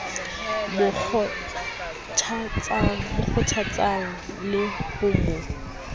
mo kgothatsang le ho mo